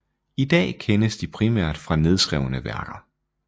I dag kendes de primært fra nedskrevne værker